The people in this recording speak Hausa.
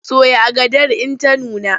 Soya agadar in ta nuna!